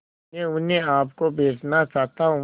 मैं उन्हें आप को बेचना चाहता हूं